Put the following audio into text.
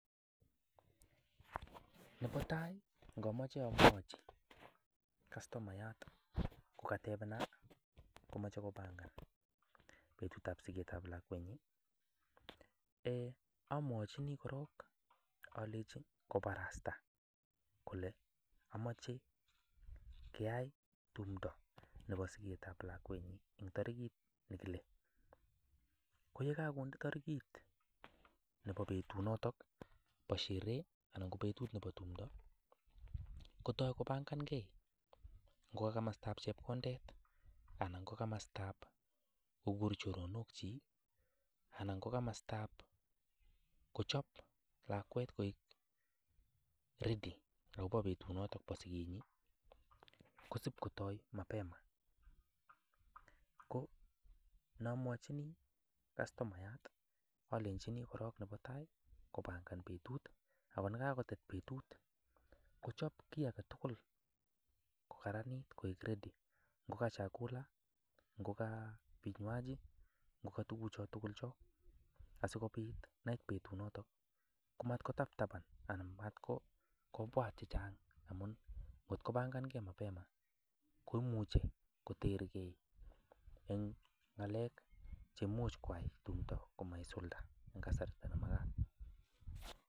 Nebo tai ngomoche amwochi katomayat kogatebenan komoche kobangan betutab sigetab lakwenyin, ee amwochini korng alenchini koborasta kole amache keyai tumdo nebo sigetab lakwenyi en tarigit nekile. Ko ye kagonde tarigit nebo betunoto bo sherehe ngo betut nebo tumdo kotai kobangange, no ka komostab chepkondet anan komostab kogur choronokyik anan ko komostab kochob lakwet koik ready agobo betunoto bo sigenyi. Kosib kotoi mapema ko nomwochini kastomayat alenchi korng nebo tai kobangan betut, ago ye kagotet betut kochob kiy age tugul kokaranit koik ready ngo ka chakula ngo ka vinywaji tugucho tugul chu. Asikobit ye kait betunoto komatkotabtaban komatkobwat chechang amun ngotko bangange mapema koimuche koterge en ng'alek che imuch koai tumdo komaisulda en kasarta nemagat.